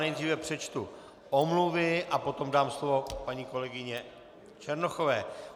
Nejdříve přečtu omluvy a potom dám slovo paní kolegyni Černochové.